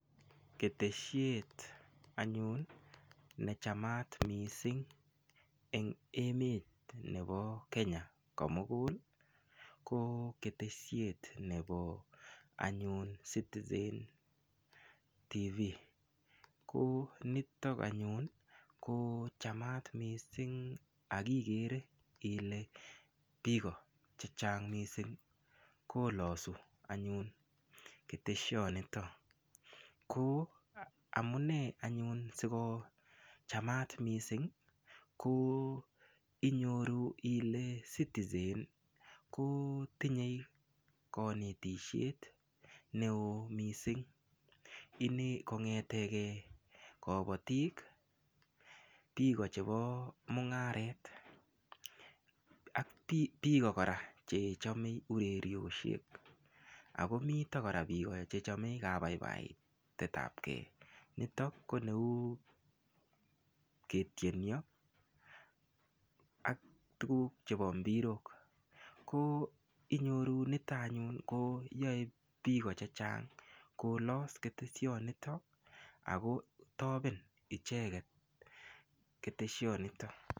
Ketesiet anyun nechamat mising eng emet nebo Kenya komukul ko ketesiet nebo anyun citizen tv ko nitok anyun ko chamat mising akikere ile biko che chang mising kolosu anyun keteshonito ko amune anyun sikochamat mising ko inyoru ile citizen kotinyei kanetishet neo mising kong'ete ke kobotik biko chebo mung'aret biko kora chechomei ureriosiek akomito kora biko chechomei kabaibaitet ap kee nitok ko neu ketienyo ak tukuk chebo mbirok ko inyoru nito anyun ko yoe biko chechang kolos keteshonito akotoben icheket keteshonito.